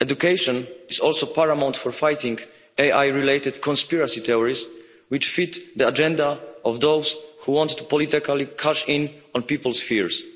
Education is also paramount for fighting AI related conspiracy theories, which feed the agenda of those who want to politically cash in on people's fears.